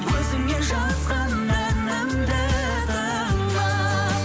өзіңе жазған әнімді тыңда